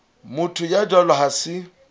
motho ya jwalo ha se